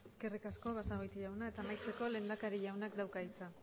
eskerrik asko basagoiti jauna amaitzeko lehendakari jaunak dauka hitza